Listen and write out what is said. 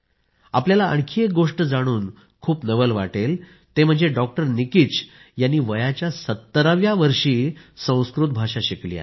आपल्याला आणखी एक गोष्ट जाणून खूप नवल वाटेल ते म्हणजे डॉक्टर निकिच यांनी वयाच्या 70 व्या वर्षी संस्कृत भाषा शिकली आहे